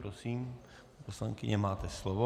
Prosím, paní poslankyně, máte slovo.